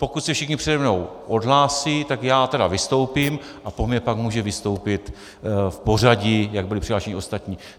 Pokud se všichni přede mnou odhlásí, tak já tedy vystoupím a po mně pak může vystoupit v pořadí, jak byli přihlášeni, ostatní.